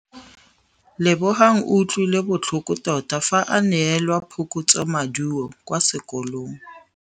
Lebogang o utlwile botlhoko tota fa a neelwa phokotsômaduô kwa sekolong.